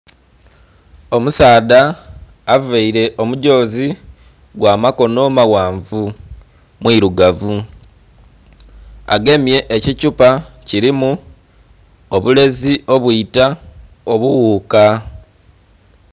Omusaadha availe omugyozi gw'amakono maghanvu, mwilugavu. Agemye ekithupa kilimu obulezi obwita obughuka.